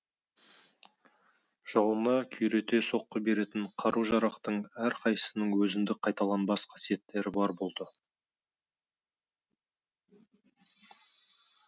жауына күйрете соққы беретін қару жарақтың әр қайсысының өзіндік қайталанбас қасиеттері бар болды